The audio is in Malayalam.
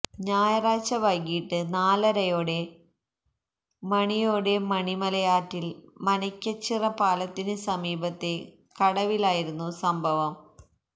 ഞായറാഴ്ച വൈകിട്ട് നാലരയോടെ മണിയോടെ മണിമലയാറ്റിൽ മനയ്ക്കച്ചിറ പാലത്തിന് സമീപത്തെ കടവിലായിരുന്നു സംഭവം